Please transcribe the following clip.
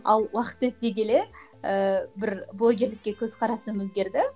ал уақыт өте келе ііі бір блогерлікке көзқарасым өзгерді